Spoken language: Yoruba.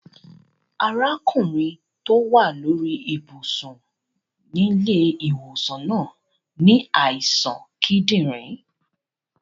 Arákùnrin to wa lórí ibùsùn nílẹ́ ìwòsàn náà ni àìsàn kídìnrín